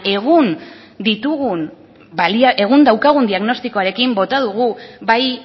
egun daukagun diagnostikoarekin bota dugu bai